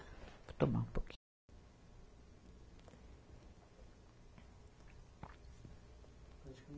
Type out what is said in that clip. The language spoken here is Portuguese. Vou tomar um pouquinho.